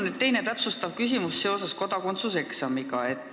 Mul on teine täpsustav küsimus seoses kodakondsuse eksamiga.